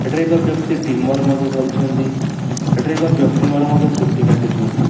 ଏଠି ଏକ ବ୍ୟକ୍ତି ଟିମର ମଧ୍ଯ ଧରିଛନ୍ତି ଏଠି ଏକ ବ୍ୟକ୍ତି ମଧ୍ଯ ମୋର ଚୁଟି କାଟୁଛନ୍ତି।